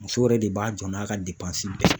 Muso yɛrɛ de b'a jɔ n'a ka bɛɛ ye